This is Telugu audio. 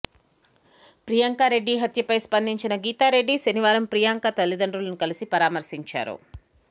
ప్రియాంకరెడ్డి హత్యపై స్పందించిన గీతా రెడ్డి శనివారం ప్రియాంక తల్లిదండ్రులను కలిసి పరామర్శించారు